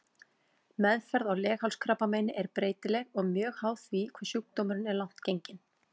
Meðferð á leghálskrabbameini er breytileg og mjög háð því hve sjúkdómurinn er langt genginn.